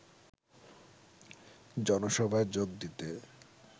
জনসভায় যোগ দিতে